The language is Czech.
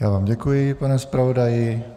Já vám děkuji, pane zpravodaji.